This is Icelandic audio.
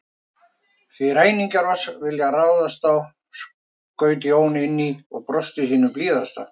Því ræningjar oss vilja ráðast á, skaut Jón inn í og brosti sínu blíðasta.